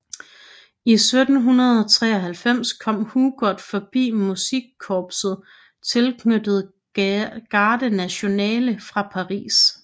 I 1793 kom Hugot forbi musikkorpset tilknyttet Garde nationale fra Paris